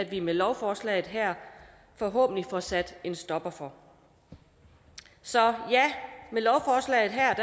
vi med lovforslaget her forhåbentlig får sat en stopper for så ja med lovforslaget her